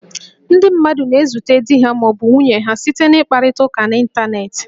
Ndị mmadụ na-ezute di ha ma ọ bụ nwunye ha site n' ịkparịta ụka n'Ịntaneetị